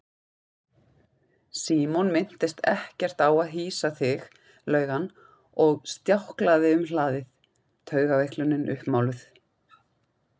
Símon minntist ekkert á að hýsa þig laug hann og stjáklaði um hlaðið, taugaveiklunin uppmáluð.